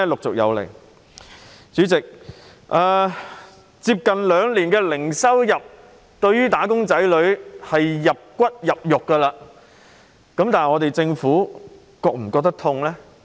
主席，接近兩年零收入，對"打工仔女"已經是"入骨入肉"，但政府是否感到痛呢？